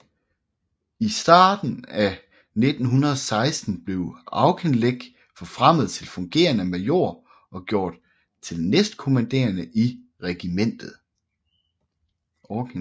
I starten af 1916 blev Auchinleck forfremmet til fungerende major og gjort til næstkommanderende i regimentet